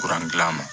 gilala ma